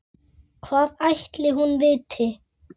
Hvað ætli hún viti?